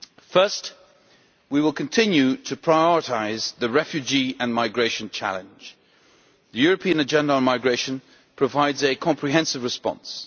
First, we will continue to prioritise the refugee and migration challenge. The European Agenda on Migration provides a comprehensive response.